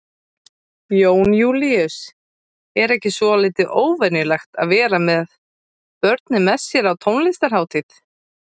Jón Júlíus: Er ekki svolítið óvenjulegt að vera með börnin með sér á tónlistarhátíð?